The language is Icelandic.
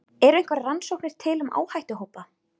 Eru einhverjar rannsóknir til um áhættuhópa?